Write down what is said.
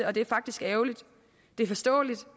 og det er faktisk ærgerligt det er forståeligt